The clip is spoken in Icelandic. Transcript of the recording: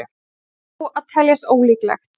Það verður þó að teljast ólíklegt.